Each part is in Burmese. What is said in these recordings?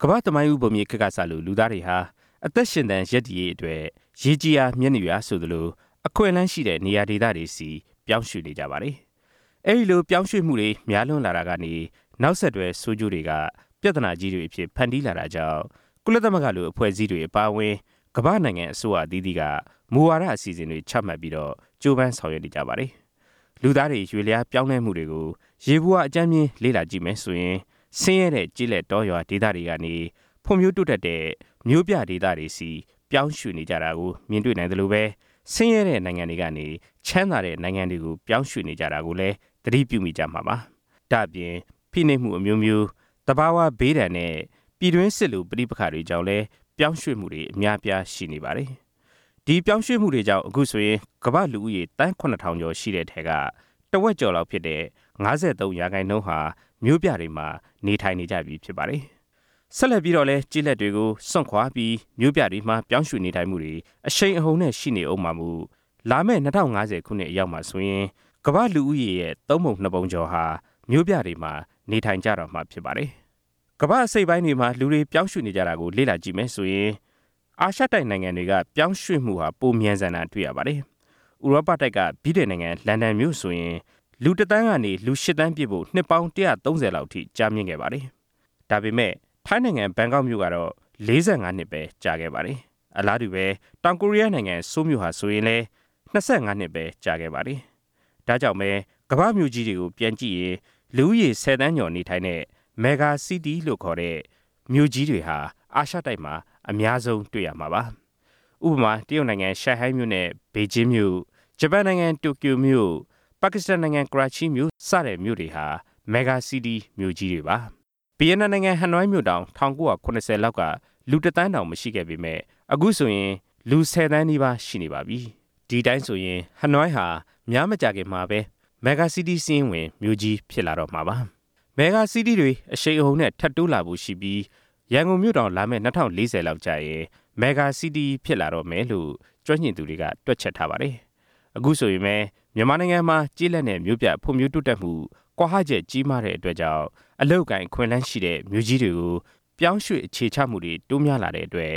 ကမ္ဘာ့သမိုင်းဦးဘုံမြေခေတ်ကစလို့ လူသားတွေဟာ အသက်ရှင်သန် ရပ်တည်ရေးအတွက် “ရေကြည်ရာ မြက်နုရာ” ဆိုသလို အခွင့်အလမ်းရှိတဲ့ နေရာဒေသတွေဆီ ပြောင်းရွှေ့နေကြပါတယ်။ အဲဒီလို ပြောင်းရွှေ့မှုတွေ များလွန်းလာတာကနေ နောက်ဆက်တွဲ ဆိုးကျိုးတွေက ပြဿနာကြီးတွေအဖြစ် ဖန်တီးလာတာကြောင့် ကုလသမဂ္ဂလို အဖွဲ့အစည်းတွေအပါအဝင် ကမ္ဘာ့နိုင်ငံအစိုးရအသီးသီးက မူဝါဒအစီအစဉ်တွေ ချမှတ်ပြီး ကြိုးပမ်းဆောင်ရွက်နေကြပါတယ်။ လူသားတွေ ရွေ့လျားပြောင်းလဲမှုတွေကို ယေဘုယျ အကြမ်းဖျင်း လေ့လာကြည့်မယ်ဆိုရင် ဆင်းရဲတဲ့ ကျေး လက်တောရွာ ဒေသတွေကနေ ဖွံ့ဖြိုးတိုးတက်တဲ့ မြို့ပြဒေသတွေကို ပြောင်းရွှေ့နေကြတာ တွေ့မြင်နိုင်သလိုပဲ ဆင်းရဲတဲ့နိုင်ငံတွေကနေ ချမ်းသာတဲ့ နိုင်ငံတွေကို ပြောင်းရွှေ့နေကြတာကိုလည်း သတိပြုမိကြမှာပါ။ ဒါ့ပြင် ဖိနှိပ်မှုအမျိုးမျိုး၊ သဘာဝဘေးဒဏ်နဲ့ ပြည်တွင်းစစ်လို ပဋိပက္ခတွေကြောင့်လည်း ပြောင်းရွှေ့မှုတွေ အများအပြား ရှိနေပါတယ်။ ဒီပြောင်းရွှေ့မှုတွေကြောင့် အခုဆိုရင် ကမ္ဘာ့လူဦးရေ သန်း ၇၀၀၀ ကျော်ရှိတဲ့အထဲက တဝက်ကျော်ဖြစ်တဲ့ ၅၃ ရာခိုင်နှုန်းဟာ မြို့ပြတွေမှာ နေထိုင်ကြပြီဖြစ်ပါတယ်။ ဆက်လက်ပြီးတော့လည်း ကျေးလက်တွေကို စွန့်ခွာပြီး မြို့ပြတွေမှာ ပြောင်းရွှေ့နေထိုင်မှုတွေ အရှိန်အဟုန်နဲ့ ရှိနေဦးမှာမို့ လာမယ့် ၂၀၅၀ ခုနှစ် အရောက်မှာဆိုရင် ကမ္ဘာ့လူဦးရေ ၃ ပုံ ၂ ပုံကျော်ဟာ မြို့ပြတွေမှာ နေထိုင်ကြတော့မှာ ဖြစ်ပါတယ်။ ကမ္ဘာ့အစိတ်အပိုင်းတွေမှာ လူတွေ ပြောင်းရွှေ့နေတာတွေကို လေ့လာကြည့်ရင် အာရှတိုက်နိုင်ငံတွေ က ပြောင်းရွှေ့မှု ပိုမြန်ဆန်တာကို တွေ့ရပါတယ်။ ဥရောပတိုက်က ဗြိတိန်နိုင်ငံလန်ဒန်မြို့ဆိုရင် လူတစ်သန်း ကနေ ရှစ်သန်းပြည့်ဖို့ နှစ်ပေါင်း ၁၃၀ လောက်အထိ ကြာမြင့်ခဲ့ပါတယ်။ ဒါပေမယ့် ထိုင်းနိုင်ငံဘန်ကောက်မြို့က ၄၅ နှစ်ပဲကြာခဲ့ပါတယ်။ အလားတူပဲ တောင်ကိုရီးယားနိုင်ငံ ဆိုးလ်မြို့ဟာလည်း၂၅ နှစ်ပဲ ကြာခဲ့ပါတယ်။ ဒါ့ကြောင့်ပဲ ကမ္ဘာ့မြို့ကြီးတွေကို ပြန်ကြည့်ရင် လူဦးရေ ၁၀ သန်းကျော်နေထိုင်တဲ့ မဂ္ဂါစီးတီးလို့ ခေါ်တဲ့ မြို့ကြီးတွေဟာ အာရှတိုက်မှာ အများဆုံးတွေ့ရမှာပါ။ ဥပမာ တရုတ်နိုင်ငံ ရှန်ဟိုင်းမြို့နဲ့ ဘေဂျင်းမြို့၊ ဂျပန်နိုင်ငံ တိုကျိုမြို့၊ ပါကစ္စတန်နိုင်ငံ ကရာချိမြို့ စတဲ့မြို့တွေဟာ မဂ္ဂါစီးတီး မြို့ကြီးတွေပါ။ ဗီယက်နမ်နိုင်ငံ ဟနွိုင်းမြို့တောင် ၁၉၇၀ လောက်က လူတစ်သန်းတောင် မရှိခဲ့ပေမယ့် အခုဆိုရင် ၁၀ သန်းနီးပါးရှိနေပါပြီ။ ဒီအတိုင်းဆိုရင် ဟနွိုင်းဟာ များမကြာခင်မှာပဲ မဂ္ဂါစီးတီးစာရင်းဝင် မြို့ကြီးဖြစ် လာတော့မှာပါ။ မဂ္ဂါစီးတီးတွေ အရှိန်အဟုန်နဲ့ ထပ်တိုးလာဖို့ရှိပြီး ရန်ကုန်မြို့တောင် လာမယ့် ၂၀၄၀ လောက်ကျ ရင် မဂ္ဂါစီးတီးဖြစ် လာတော့မယ်လို့ ကျွမ်းကျင်သူတွေက တွက်ချက်ထားပါတယ်။ အခုဆိုရင်ပဲ မြန်မာနိုင်ငံ မှာ ကျေးလက်နဲ့ မြို့ပြဖွံ့ဖြိုးတိုးတက်မှု ကွာဟချက်ကြီးမားတဲ့အတွက်ကြောင့် အလုပ်အကိုင်အခွင့်အလမ်းရှိတဲ့ မြို့ကြီးတွေကို ပြောင်းရွှေ့အခြေချမှုတွေ တိုးများလာတဲ့အတွက်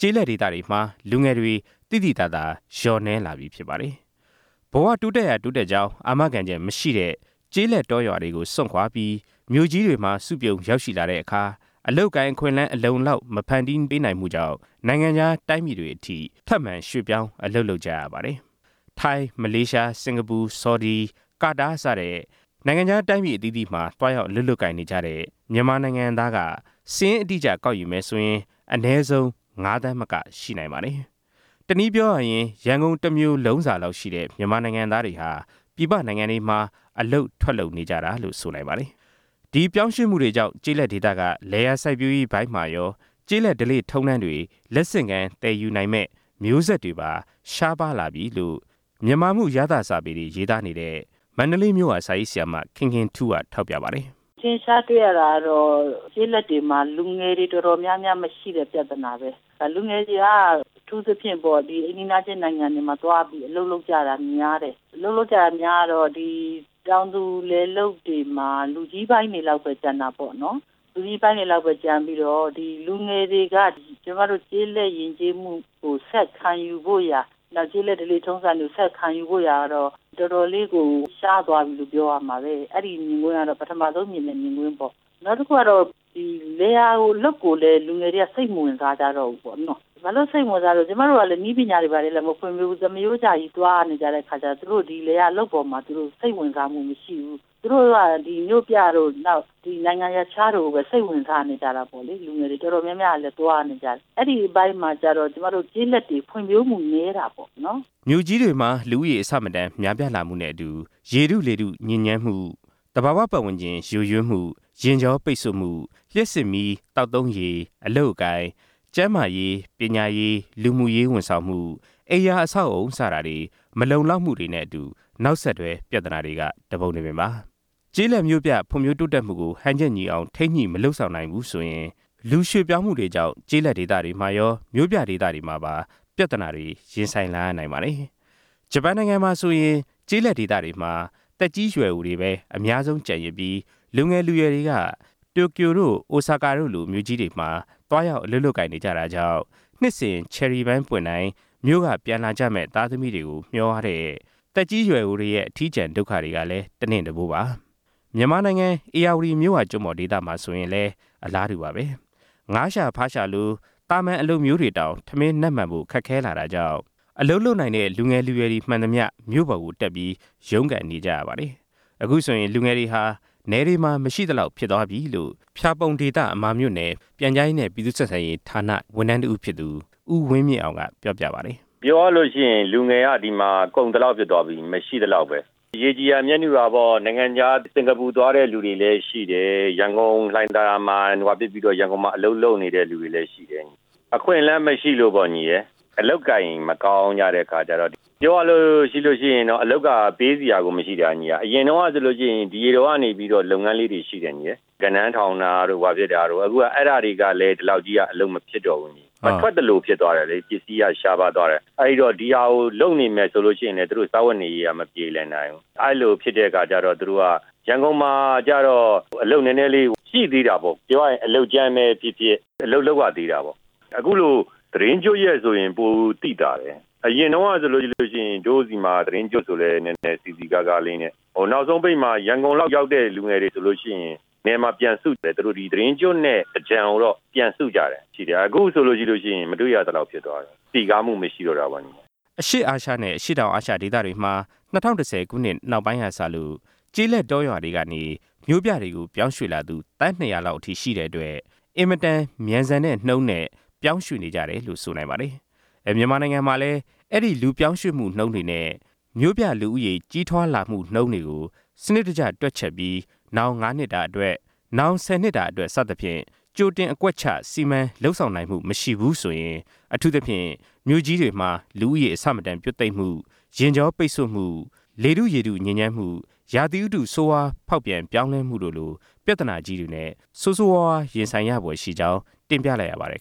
ကျေးလတ်ဒေသတွေမှာ လူငယ်တွေ သိသိသာသာလျော့နည်းလာပြီဖြစ်ပါတယ်။ ဘဝတိုးတက်ရာတိုးတက်ကြောင်း အာမခံချက်မရှိတဲ့ ကျေးလက်တောရွာတွေကို စွန့်ခွာပြီး မြို့ကြီးတွေမှာ စုပြုံရောက်ရှိလာတဲ့အခါ အလုပ်အကိုင်အခွင့်အလမ်း အလုံအလောက်မဖန်တီးပေးမှုကြောင့် နိုင်ငံခြား တိုင်းပြည်တွေအထိ ထပ်မံရွှေ့ပြောင်းအလုပ်လုပ်နေကြရ ပါတယ်။ ထိုင်း၊ မလေးရှား၊ စင်ကာပူ၊ ဆော်ဒီ၊ ကာတာ စတဲ့ နိုင်ငံခြားတိုင်းပြည်တွေမှာ သွားရောက်အလုပ်လုပ်နေတဲ့ မြန်မာနိုင်ငံသားက စာရင်းအတိအကျကောက် ယူမယ်ဆိုရင် အနည်းဆုံး ငါးသန်းမက ရှိနိုင်ပါတယ်။ တနည်းပြောရရင် ရန်ကုန်မြို့တစ်မြို့လုံးစာလောက်ရှိ တဲ့ မြန်မာနိုင်ငံသားတွေ ပြည်ပနိုင်ငံတွေမှာ အလုပ်ထွက်လုပ်နေကြတာလို့ ဆိုနိုင်ပါတယ်။ ဒီရွှေ့ပြောင်း မှုတွေကြောင့် ကျေးလက်ဒေသက လယ်ယာစိုက်ပျိုးရေးမှာပိုင်းမှာရော ကျေးလက်ဓလေ့ထုံးတမ်းတွေ လက်ဆင့်ကမ်းသယ်ယူမယ့် မျိုးဆက်တွေပါ ရှားပါးလာပြီလို့ မြန်မာမှုရသ စာပေတွေ ရေးသားနေတဲ့ မန္တလေးမြို့က စာရေးဆရာမ ခင်ခင်ထူးက ထောက်ပြပါတယ်။ “အထင်အရှားတွေ့ရတာကတော့ ကျေးလက်တွေမှာ လူငယ်တွေတော်တော်များများ မရှိတဲ့ပြဿနာပဲ၊ လူငယ်တွေက အထူးသဖြင့် အိမ်နီးနားချင်း နိုင်ငံတွေမှာသွားပြီး အလုပ်လုပ်ကြတာများတယ်၊ အလုပ်လုပ်ကြတာ များတော့ တောင်သူလယ်လုပ်တွေမှာ လူကြီးပိုင်းတွေလောက်ပဲ ကျန်တာပေါ့နော်၊ လူကြီးပိုင်းတွေလောက်ပဲ ကျန်ပြီးတော့ လူငယ်တွေက ကျွန်မတို့ ကျေးလက်ယဉ်ကျေးမှုကို ဆက်ခံယူဖို့ရာ နောက် ကျေးလက်ဓလေ့ ထုံးစံတွေကို ဆက်ခံယူဖို့ရာကတော့ တော်တော်လေးကို ရှားသွားပြီလို့ ပြောရမှာပဲ။ အဲဒီမြင်ကွင်းကတော့ ပထမဆုံးမြင်တဲ့ မြင်ကွင်းပေါ့၊” “နောက်တစ်ခုကတော့ ဒီလယ်ယာအလုပ်ကိုလည်း လူငယ်တွေက စိတ်မဝင်စားကြတော့ဘူး ပေါ့နော၊ ဘာလို့ စိတ်မဝင်စားဘူးလဲဆိုတော့ ကျွန်မတို့က နည်းပညာလည်း မဖွံ့ဖြိုးဘူး၊ သမားရိုးကျကြီး သွားနေကြတဲ့ အခါကျတော့ သူတို့ ဒီလယ်ယာလုပ်ငန်းအပေါ်မှာ စိတ်ဝင်စားမှု မရှိဘူး၊ သူတို့က မြို့ပြတို့ ဒီနိုင်ငံရပ်ခြားတို့ကိုပဲ စိတ်ဝင်စားနေကြတာပေါ့လေ၊ လူငယ်တွေ တော်တော်များများကလည်း သွားနေကြတယ်၊ အဲဒီအပိုင်းမှာကျတော့ ကျွန်မတို့ ကျေးလက်တွေ ဖွံ့ဖြိုးမှုနည်းတာပေါ့နော်” မြို့ကြီးတွေမှာ လူဦးရေအဆမတန် များပြားမှုပြဿနာနဲ့အတူ လေထု ရေထု ညစ်ညမ်းမှု၊ သဘာဝပတ်ဝန်းကျင် ယိုယွင်းမှု၊ ယာဉ်ကြောပိတ်ဆို့မှု၊ လျှပ်စစ်မီး၊ သောက်သုံးရေ၊ အလုပ်အကိုင်၊ ကျန်မာရေး ပညာရေး၊ လူမှုရေး ဝန်ဆောင်မှု၊ အိမ်ယာအဆောက်အဦး စတာတွေ မလုံလောက်မှုတွေနဲ့အတူ နောက်ဆက်တွဲ ပြဿနာတွေက တပုံတပင်ပါ။ ကျေးလက်မြို့ပြဖွံ့ဖြိုးတိုးတက်မှုကို ဟန်ချက်ညီအောင် ထိန်းညှိမလုပ်ဆောင်နိုင်ဘူးဆိုရင် လူရွှေ့ပြောင်းမှု တွေကြောင့် ကျေးလက်မှာရော မြို့ပြမှာပါ ပြဿနာတွေ ရင်ဆိုင်လာရနိုင်ပါတယ်။ ဂျပန်နိုင်ငံမှာဆိုရင် ကျေးလက်ဒေသတွေမှာ သက်ကြီးရွယ်အိုတွေပဲ အများဆုံး ကျန်ရစ်ပြီး၊ လူငယ် လူရွယ်တွေက တိုကျိုတို့ အိုဆာကာတို့လို မြို့ကြီးတွေမှာ သွားရောက်အလုပ်လုပ်နေကြတာကြောင့် နှစ်စဉ်ချယ်ရီပန်းပွင့်တိုင်း မြို့ကပြန်လာမယ့် သားသမီးတွေကို မျှော်ရတဲ့ သက်ကြီးရွယ်အိုတွေရဲ့ အထီးကျန်ဒုက္ခတွေက တနင့်တပိုးပါ။ ဧရာဝတီမြစ်ဝကျွမ်းပေါ်ဒေသတွေမှာလည်း အလားတူပါဘဲ။ ငါးရှာ၊ ဖားရှာလို အလုပ်မျိုးတောင် ထမင်းနပ်မှန်ဖို့ခက်ခဲလာတာကြောင့် အလုပ်လုပ်နိုင်တဲ့ လူငယ်တွေမှန်သမျှ မြို့ပေါ်တက်ပြီး ရုန်းကန်နေကြရပါတယ်။ အခုဆိုရင် လူငယ်တွေဟာ နယ်တွေမှာ မရှိသလောက်ဖြစ်သွားပြီလို့ ဖျာပုံအမာမြို့နယ် ပြန်ကြားရေးနဲ့ ပြည်သူ့ဆက်ဆံရေးဌာန ဝန်ထမ်းတစ်ဦးဖြစ်သူ ဦးဝင်းမြင့်အောင် က ပြောပြပါတယ်။ “ပြောရလို့ရှိရင် ဒီမှာက လူငယ်က ကုန်သလောက်ဖြစ်သွားပြီ၊ မရှိသလောက်ပဲ။ ရေကြည်ရာ မြက်နု ရာပေါ့ နိုင်ငံခြား စင်ကာပူသွားတဲ့သူတွေလည်းရှိတယ်၊ ရန်ကုန်လှိုင်သာယာမှာသွားပြီးတော့ ရန်ကုန်မှာ အလုပ်လုပ်နေတဲ့သူတွေလည်းရှိတယ်၊ အခွင့်အလန်းမရှိလို့ပေါ့၊ အလုပ်အကိုင်မကောင်းကြတဲ့အခါ ကျတော့ ပြောရလို့ရှိရင် အလုပ်က ပေးစရာကို မရှိတာ။ အရင်တုန်းကဆိုလို့ရှိရင် ဒီရေတောကနေပြီးတော့ လုပ်ငန်းလေးတွေရှိတယ်၊ ဂဏန်းထောင်တာတို့ ဘာတို့၊ အခုအဲဒါတွေကလည်း ဒီလောက်ကြီး အလုပ်မဖြစ်တော့ဘူး၊ မထွက်သလိုဖြစ်သွားတယ်လေ၊ ပစ္စည်းက ရှားပါးသွားတယ်၊ အဲဒီတော့ ဒီဟာကို လုပ်နေမယ်ဆိုလို့ရှိရင်လည်း သူတို့ စားဝတ်နေရေးက မပြေလည်နိုင်ဘူး၊ အဲလိုဖြစ်တဲ့အခါကျတော့ သူတို့က ရန်ကုန်မှာကျတော့ အလုပ်နည်းနည်းလေး ရှိသေးတာပေါ့၊ ပြောရရင် အလုပ်ကြမ်းပဲဖြစ်ဖြစ် အလုပ်လုပ်ရသေးတာပေါ့” “အခုလို သီတင်းကျွတ်ရက်ဆိုရင် ပိုသိသာတယ်၊ အရင်တုံးကဆိုလို့ရှိရင် တို့ဆီမှာ သီတင်းကျွတ်ဆိုလည်း နည်းနည်းစည်စည်ကားကားလေးနဲ့၊ နောက်ဆုံးပိတ်မှာ ရန်ကုန်လောက်ရောက်တဲ့ လူငယ်တွေ ဆိုလို့ရှိရင် နယ်မှာပြန်စုတယ်၊ သူတို့ ဒီသီတင်းကျွတ်နဲ့ သြင်္ကန်ကိုတော့ ပြန်စုကြတာ ရှိတယ်၊ အခုဆိုလို့ရှိရင် မတွေ့ရသလောက် ဖြစ်သွားတယ်၊ စည်ကားမှု မရှိတော့တာပေါ့” အရှေ့အာရှနဲ့ အရှေ့တောင်အာရှဒေသမှာ၂၀၁၀ ခုနှစ်နောက်ပိုင်းကစလို့ ကျေးလက်တောရွာတွေကနေ မြို့တွေကို ပြောင်းရွှေ့လာသူ သန်း ၂၀၀ လောက်ရှိတဲ့အတွက် အင်မတန်မြန်ဆန်တဲ့နှုန်းနဲ့ ပြောင်းရွှေ့နေကြ တယ်လို့ ဆိုနိုင်ပါတယ်။ မြန်မာနိုင်ငံမှာလည်း အဲဒီလူပြောင်းရွှေ့နှုန်းတွေ၊ မြို့ပြလူဦးရေ ကြီးထွားမှုနှုန်းတွေကို စနစ်တကျတွက်ချက်ပြီး နောင် ၅ နှစ်တာအတွက်၊ နောင် ၁၀ နှစ်တာအတွက် စသဖြင့် ကြိုတင်အကွက်ချ စီမံလုပ်ဆောင်နိုင်မှုမရှိဘူးဆိုရင် အထူးသဖြင့် မြို့ကြီးတွေမှာ လူဦးရေအဆမတန်ပြွတ်သိပ်မှု၊ ယာဉ်ကြောပိတ်ဆို့မှု၊ လေထုရေထု ညစ်ညမ်းမှု၊ ရာသီဥတု ဆိုဝါးဖောက်ပြန်ပြောင်းလဲမှုလို ပြဿနာကြီးတွေနဲ့ ဆိုးဆိုးရွားရွားရင်ဆိုင်ရဖွယ်ရှိကြောင်း တင်ပြလိုက်ရပါတယ်